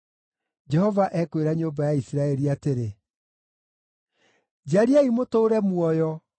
Jehova ekwĩra nyũmba ya Isiraeli atĩrĩ: “Njariai mũtũũre muoyo;